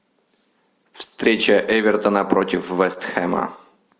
встреча эвертона против вест хэма